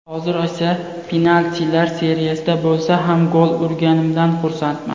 Hozir esa penaltilar seriyasida bo‘lsa ham gol urganimdan xursandman.